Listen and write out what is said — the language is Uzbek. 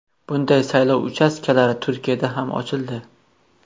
Bunday saylov uchastkalari Turkiyada ham ochildi.